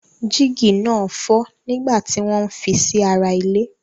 Jígí náà fọ́ nígbà tí wọ́n ń fi sí ara ile.